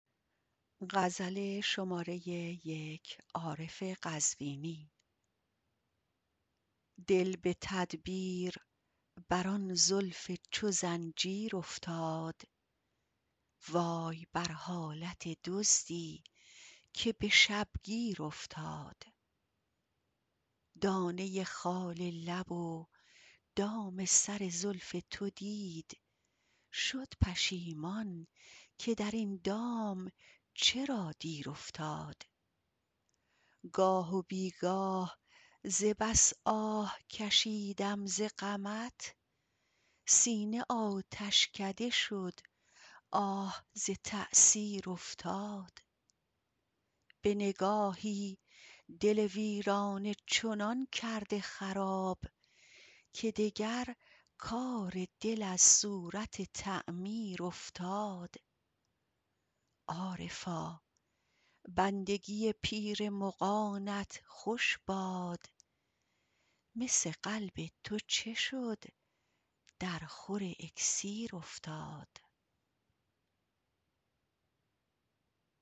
دل به تدبیر بر آن زلف چو زنجیر افتاد وای بر حالت دزدی که به شب گیر افتاد دانه خال لب و دام سر زلف تو دید شد پشیمان که در این دام چرا دیر افتاد گاه و بیگاه ز بس آه کشیدم ز غمت سینه آتشکده شد آه ز تأثیر افتاد به نگاهی دل ویرانه چنان کرده خراب که دگر کار دل از صورت تعمیر افتاد عارفا بندگی پیر مغانت خوش باد مس قلب تو چه شد در خور اکسیر افتاد